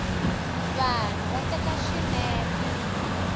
vanhu va teka xinepe